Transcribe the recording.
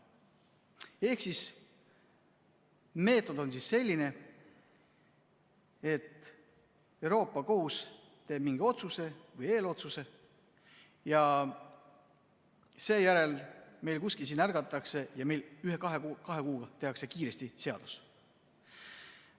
Ehk siis meetod on selline, et Euroopa Liidu Kohus teeb mingi otsuse või eelotsuse ja seejärel meil siin ärgatakse ning ühe-kahe kuuga tehakse kiiresti seadus.